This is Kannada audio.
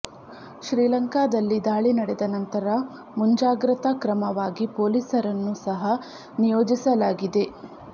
ಶ್ರೀಲಂಕಾದಲ್ಲಿ ದಾಳಿ ನಡೆದ ನಂತರ ಮುಂಜಾಗ್ರತಾ ಕ್ರಮವಾಗಿ ಪೊಲೀಸರನ್ನು ಸಹ ನಿಯೋಜಿಸಲಾಗಿದೆ